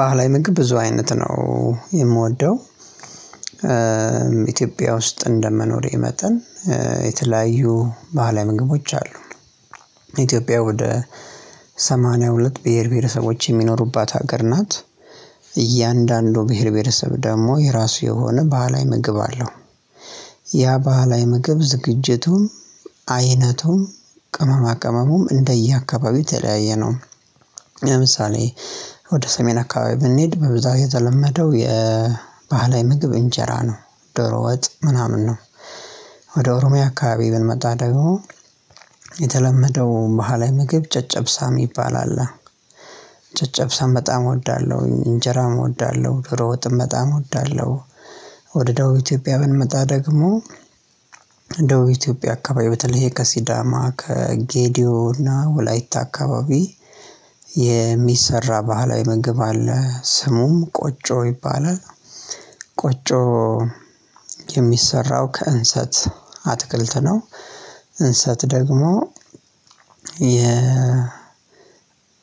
ባህላዊ ምግብ ብዙ አይነት ነው የምወደው፤ ኢትዮጵያ ውስጥ እንደመኖሬ መጠን የተለያዩ ባህላዊ ምግቦች አሉ። ኢትዮጵያ ወደ ሰማንያ ሁለት ብሄር ብሄረሰቦች የሚኖሩባት ሀገር ናት። እያንዳንዱ ብሄር ብሄረሰብ ደግሞ የራሱ የሆነ ባህላዊ ምግብ አለው። ያ ባህላዊ ምግብ ዝግጅቱም አይነቱም ቅመማ ቅመሙም እንደየአካባቢው የተለያየ ነው። ለምሳሌ ወደ ሰሜን አካባቢ ብንሄድ በብዛት የተለመደው የባህላዊ ምግብ እንጀራ ነው፣ ዶሮ ወጥ ምናምን ነው። ወደ ኦሮሚያ አካባቢ ብንመጣ ደግሞ የተለመደው ባህላዊ ምግብ ጨጨብሳ የሚባል አለ። ጨጨብሳም በጣም እወዳለሁ፣ እንጀራም እወዳለሁ፣ ዶሮ ወጥም በጣም እወዳለሁ። ወደ ደቡብ ኢትዮጵያ ብንመጣ ደግሞ ደቡብ ኢትዮጵያ አካባቢ በተለይ ከሲዳማ፣ ከጌዲዮ እና ወላይታ አካባቢ የሚሰራ ባህላዊ ምግብ አለ ስሙም ቆጮ ይባላል። ቆጮ የሚሰራው ከእንሰት አትክልት ነው። እንሰት ደግሞ የ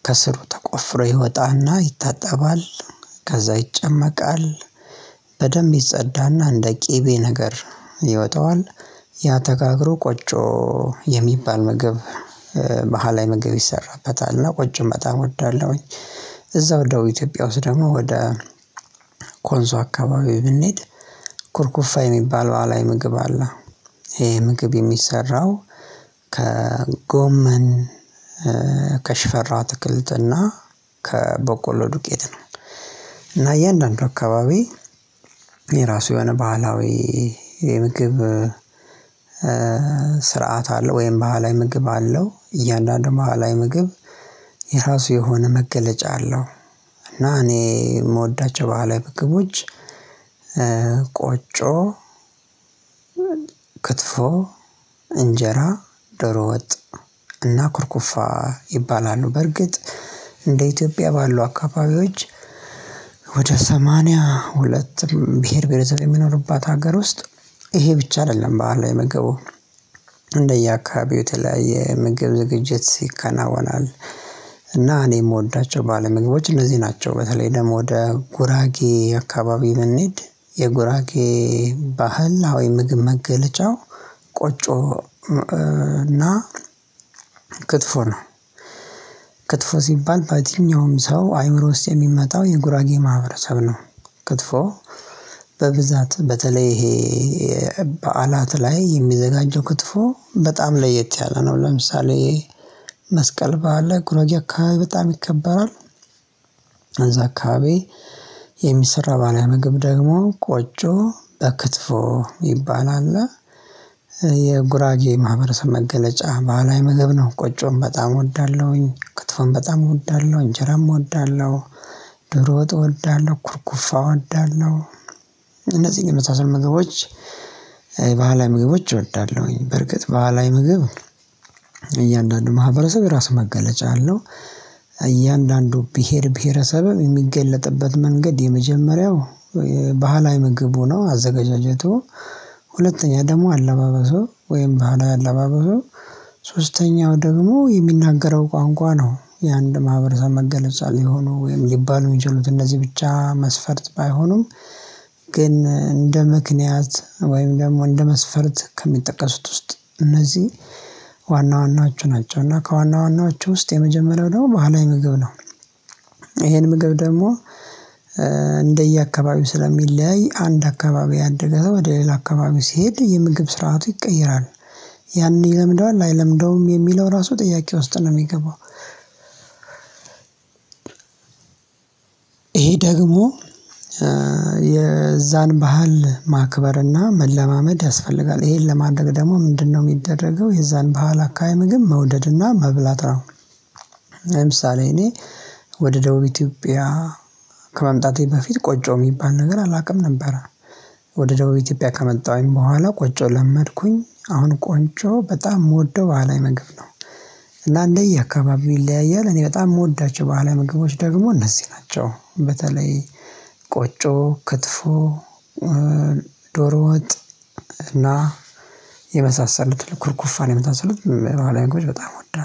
ከስሩ ተቆፍሮ ይወጣና ይታጠባል። ከዛ ይጨመቃል፣ በደንብ ይጸዳና እንደ ቅቤ ነገር ይወጣዋል። ያ ተጋግሮ ቆጮ የሚባል ምግብ ባህላዊ ላይ ምግብ ይሰራበታልና ቆጮም በጣም እወዳለሁኝ። እዛው ደቡብ ኢትዮጵያ ውስጥ ደግሞ ወደ ኮንሶ አካባቢ ብንሄድ ኩርኩፋ የሚባል ባህላዊ ምግብ አለ። ይሄ ምግብ የሚሰራው ከጎመን፣ ከሽፈራ አትክልትና ከበቆሎ ዱቄት ነው፤ እና እያንዳንዱ አካባቢ የራሱ የሆነ ባህላዊ የምግብ ስርዓት አለው ወይም ባህላዊ ምግብ አለው። እያንዳንዱ ባህላዊ ምግብ የራሱ የሆነ መገለጫ አለው፤ እና እኔ የምወዳቸው ባህላዊ ምግቦች፤ ቆጮ ክትፎ፣ እንጀራ፣ ዶሮ ወጥ እና ኩርኩፋ ይባላሉ። በርግጥ እንደ ኢትዮጵያ ባሉ አካባቢዎች ወደ ሰማንያ ሁለትም ብሄር ብሄር ዘር የሚኖርባት ሀገር ውስጥ ይሄ ብቻ አይደለም ባህላዊ ምግቡ እንደየአካባቢው ተለያየ የምግብ ዝግጅት ይከናወናል እና እኔ የምወዳቸው ባይላዊ ምግቦች እነዚህ ናቸው። በተለይ ደግሞ ወደ ጉራጌ አካባቢ ብንሄድ የጉራጌ ባህላዊ ምግብ መገለጫው ቆጮ እና ክትፎ ነው። ክትፎ ሲባል በየትኛውም ሰው አይምሮ ውስጥ የሚመጣው የጉራጌ ማህበረሰብ ነው። ክትፎ በብዛት በተለይ ይሄ በዓላት ላይ የሚዘጋጀው ክትፎ በጣም ለየት ያለ ነው፤ ለምሳሌ መስቀል በዓል ላይ ጉረጌ አካባቢ በጣም ይከበራል። እዛ አካባቢ የሚሰራ ባህላዊ ምግብ ደግሞ ቆጮ በክትፎ ይባላል። የጉራጌ ማህበረሰብ መገለጫ ባህላዊ ምግብ ነው ቆጮን በጣም እወዳለሁኝ፣ ከትፋም በጣም እወዳለሁኝ፣ እጀራም እወዳለሁ፣ ድሮ ወጥ እወዳለሁ። ኩርኩፋ እወዳለሁ እነዚህን የመሳሰል ምግቦች የባህላዊ ምግቦች እወዳለሁኝ። በርግጥ ባህላዊ ምግብ እያንዳንዱ ማህበረሰብ የራስ መገለጫ አለው እያንዳንዱ ብሄር ብሄረሰብም የሚገለጥበት መንገድ የመጀመሪያው ባህላዊ ምግብ ሆኖ አዘገጃጀቱ፣ ሁለተኛ ደግሞ አለባበሱ ወይም ባህላዊ አለባበሱ ሶስተኛው ደግሞ የሚናገረው ቋንቋ ነው የአንድ ማህበረሰብ መገለጫ ሊሆኑ ወይም ሊባሉ የሚችሉት እነዚህ ብቻ መስፈርት ባይሆኑም፤ ግን እንደ ምክንያት ወይም ደግሞ እንደ መስፈርት ከሚጠቀሱት ውስጥ እነዚህ ዋና ዋናዎቹ ናቸው፤ እና ከዋና ዋናዎቹ ውስጥ የመጀመሪያው ደግሞ ባህላዊ ምግብ ነው። ይሄን ምግብ ደግሞ እንደየአካባቢው ስለሚለያይ አንድ አካባቢ ያደገ ወደ ሌላ አካባቢው ሲሄድ የምግብ ስርዓቱ ይቀየራል። ያን ይለምደዋል አይለምደውም የሚለው ራሱ ጥያቄ ውስጥ ነው የሚገባው። ይሄ ደግሞ የዛን ባህል ማክበርና መለማመድ ያስፈልጋል። ይሄን ለማድረግ ደግሞ ምንድነው የሚደረገው የዛን ባህል አካባቢ ምግብ መውደድና መብላት ነው። ለምሳሌ እኔ ወደ ደቡብ ኢትዮጵያ ከመምጣቴ በፊት ቆጮ የሚባል ነገር አላውቅም ነበረ። ወደ ደቡብ ኢትዮጵያ ከመጣሁኝ በኋላ ቆጮ ለመድኩኝ። አሁን ቆጮ በጣም የምወደው ባላዊ ምግብ ነው። እና እንዴ አካባቢው ይለያያል እኔ በጣም የምወዳቸው ባህላዊ ምግቦች ደግሞ እነዚህ ናቸው። በተለይ ቆጮ፣ ክትፎ ዶሮ ወጥ እና የመሳሰሉት ኩርኩፋን የመሳሰሉት ባህላዊ ምግቦች በጣም እወዳለሁ።